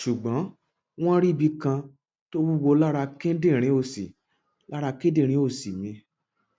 ṣùgbọn wọn rí ibi kan tó wúwo lára kíndìnrín òsì lára kíndìnrín òsì mi